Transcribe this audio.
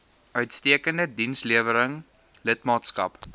uitstekende dienslewering lidmaatskap